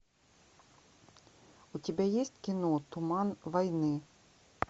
у тебя есть кино туман войны